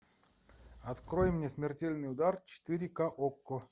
открой мне смертельный удар четыре ка окко